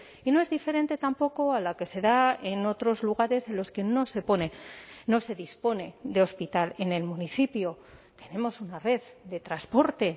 y no es diferente tampoco a la que se da en otros lugares en los que no se pone no se dispone de hospital en el municipio tenemos una red de transporte